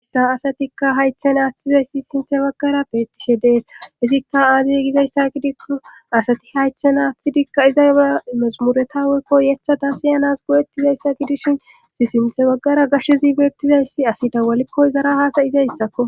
issa asatikka haythe naathizayssi sinthe baggara beettishe dees izikka aadey gizayssa gidikku asati haythe naathidikka iza ra masumuretawekko yethada siyanas go7ettizayssa gidishin si sinthe baggara gashshezi beettizayssi asi dawalikko izara haasayizayssakko